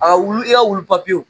wulu i Ka wulu